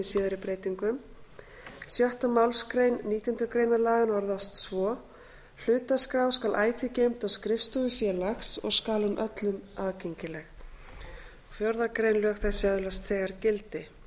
síðari breytingum sjöttu málsgrein nítjánda grein laganna orðast svo hlutaskrá skal ætíð geymd á skrifstofu félags og skal hún öllum aðgengileg fjórðu grein lög þessi öðlast þegar gildi